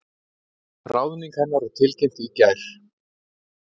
Ráðning hennar var tilkynnt í gær